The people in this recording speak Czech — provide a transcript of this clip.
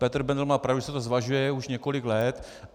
Petr Bendl má pravdu, že se to zvažuje už několik let.